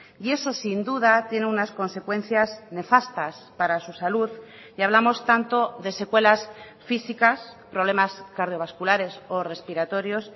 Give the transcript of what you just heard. y eso sin duda tiene unas consecuencias nefastas para su salud y hablamos tanto de secuelas físicas problemas cardiovasculares o respiratorios